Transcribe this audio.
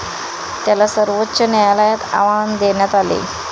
त्याला सर्वोच्च न्यायालयात आव्हान देण्यात आले.